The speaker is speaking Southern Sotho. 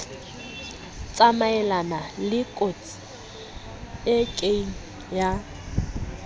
tsamayelana lekotsi e kieng ya